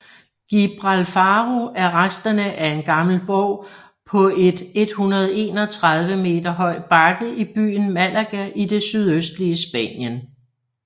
Gibralfaro er resterne af en gammel borg på et 131 meter høj bakke i byen Málaga i det sydøstlige Spanien